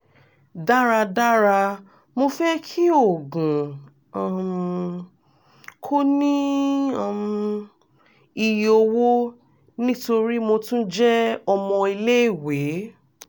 daradara mo fẹ ki oògùn um ko ni um iye owo nitori mo tun jẹ ọmọ ile-iwe